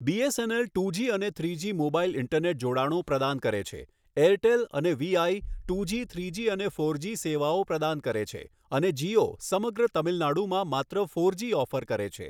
BSNL two G અને three G mobile internet જોડાણો પ્રદાન કરે છે, એરટેલ અને વીઆઇ ટુજી, થ્રીજી અને ફોરજી સેવાઓ પ્રદાન કરે છે અને જિઓ સમગ્ર તમિલનાડુમાં માત્ર ફોરજી ઓફર કરે છે.